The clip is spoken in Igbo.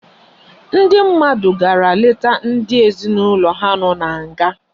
Ndi mmadu gara leta ndi ezinaulo ha no na nga